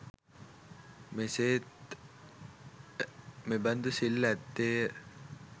මෙසේ ත් මෙබඳු සිල් ඇත්තේ ය.